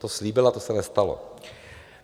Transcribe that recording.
To slíbila, to se nestalo.